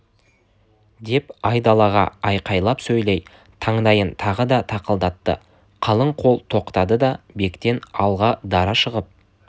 деп айдалаға айқайлап сөйлей таңдайын тағы да тақылдатты қалың қол тоқтады да бектен алға дара шығып